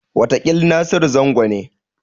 Wataƙil Nasiru Zango ne.